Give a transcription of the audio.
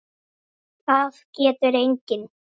Það getur enginn!